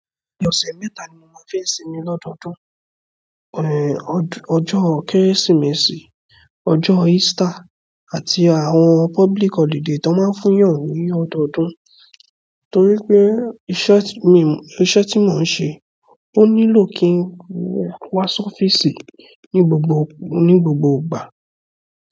Ọ̀sẹ̀ mẹ́ta ni mo máa ń fi sìnmí ni ọdọọdún. Ẹ̀. Ọjọ́ Kérésìmesì, ọjọ́ Easter àti àwọn public holiday tí wọ́n máa ń fún yàn ní ọdọọdún. Nítorí pé iṣẹ́ tí mò ń ṣe, ó nílò kí n wá sí ọ́fíìsì ní gbogbo, ní gbogbo ìgbà.